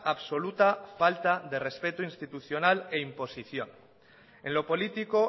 absoluta falta de respeto institucional e imposición en lo político